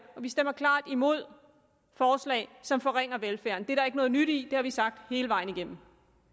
vi stemmer klart imod forslag som forringer velfærden det er der ikke noget nyt i det har vi sagt hele vejen igennem